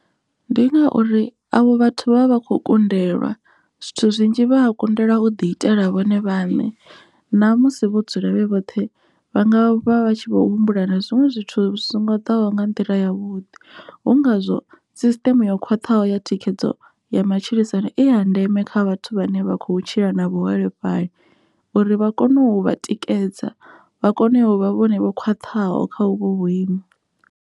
Ndi ngauri avho vhathu vha vha vha kho kundelwa zwithu zwinzhi vha kundelwa u ḓi itela vhone vhaṋe na musi vho dzula vhe vhoṱhe vha nga vha vha tshi vho humbula na zwiṅwe zwithu zwi songo ḓaho nga nḓila ya vhuḓi, hu ngazwo sisiṱeme yo khwaṱhaho ya thikhedzo ya matshilisano i ya ndeme kha vhathu vhane vha kho tshila na vhuholefhali uri vha kone u vha tikedza vha kone u vha vhone vho khwaṱhaho kha uvho vhuimo.